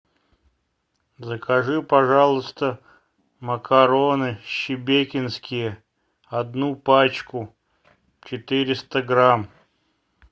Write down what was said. закажи пожалуйста макароны шебекинские одну пачку четыреста грамм